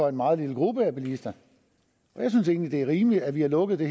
af en meget lille gruppe bilister jeg synes egentlig er rimeligt at vi har lukket det